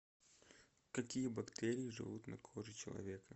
какие бактерии живут на коже человека